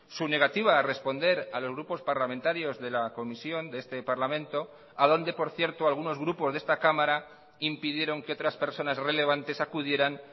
su negativa a responder a los grupos parlamentarios de la comisión de este parlamento a donde por cierto algunos grupos de esta cámara impidieron que otras personas relevantes acudieran